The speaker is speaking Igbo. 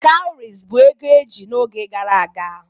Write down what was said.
Cowries bụ ego eji n'oge gara aga.